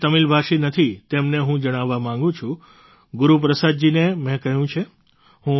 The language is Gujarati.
જે તમિલભાષી નથી તેમને હું જણાવવા માગું છું ગુરુપ્રસાદજીને મેં કહ્યું છે